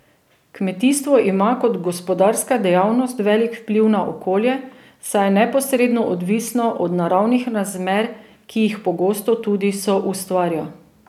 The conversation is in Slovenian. Kmetijstvo ima kot gospodarska dejavnost velik vpliv na okolje, saj je neposredno odvisno od naravnih razmer, ki jih pogosto tudi soustvarja.